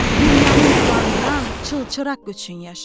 Dünyanı nurlandıran çılçıraq üçün yaşa.